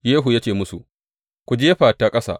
Yehu ya ce musu, Ku jefa ta ƙasa!